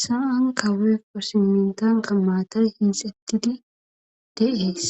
sa"an kawee posimintan qa matan hinsettidi de7ees